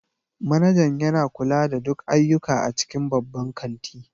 Manajan yana kula da duk ayyuka a cikin babban kanti